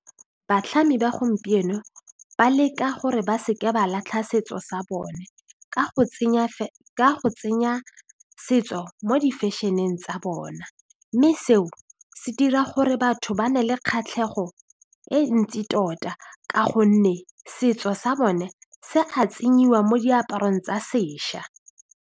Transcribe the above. Batlhami ba gompieno ba leka gore ba se ke ba latlha setso sa bone ka go tsenya setso mo di fashion-eng tsa bona mme seo se dira gore batho ba na le kgatlhego e ntsi tota ka gonne setso sa bone se a tsenyiwa mo diaparong tsa sešwa.